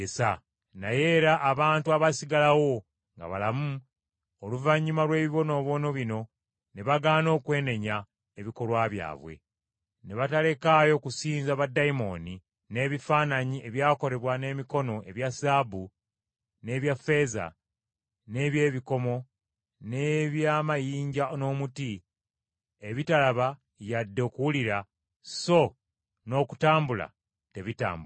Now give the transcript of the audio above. Naye era abantu abaasigalawo nga balamu oluvannyuma lw’ebibonoobono bino ne bagaana okwenenya ebikolwa byabwe. Ne batalekaayo kusinza baddayimooni n’ebifaananyi ebyakolebwa n’emikono ebya zaabu n’ebya ffeeza, n’eby’ebikomo, n’eby’amayinja n’omuti, ebitalaba yadde okuwulira so n’okutambula tebitambula.